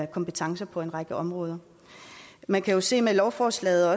kompetencer på en række områder man kan også se med lovforslaget at